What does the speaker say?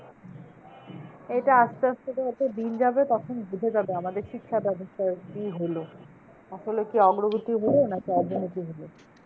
এটা আসতে আসতে যত দিন যাবে তখন বোঝা যাবে আমাদের শিক্ষা ব্যবস্থার কি হলো? আসলে কি অগ্রগতি হলো? নাকি অবনতি হলো?